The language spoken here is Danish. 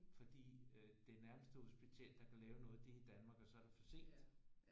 Fordi øh det nærmeste hospital der kan lave noget det er i Danmark og så er det for sent